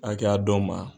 A kɛ a dɔw ma